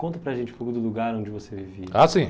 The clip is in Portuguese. Conta para a gente um pouco do lugar onde você vivia.h, sim.